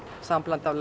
sambland af